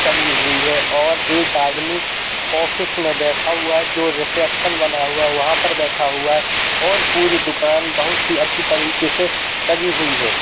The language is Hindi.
टंगी हुई है और एक आदमी ऑफिस में बैठा हुआ है जो रिसेप्शन बना हुआ है। वहाँ पर बैठा हुआ है और पूरी दुकान बहोत ही अच्छी तरीके से सजी हुई है।